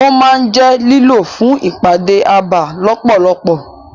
Ó máa ń jẹ́ lílò fún ìpàdé abà lọ́pọ̀lọpọ̀.